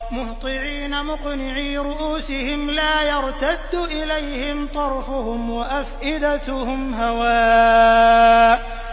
مُهْطِعِينَ مُقْنِعِي رُءُوسِهِمْ لَا يَرْتَدُّ إِلَيْهِمْ طَرْفُهُمْ ۖ وَأَفْئِدَتُهُمْ هَوَاءٌ